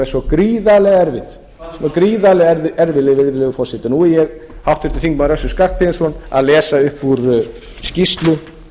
svo gríðarlega erfið virðulegi forseti nú er ég háttvirtan þingmann össur skarphéðinsson að lesa upp úr skýrslu eftir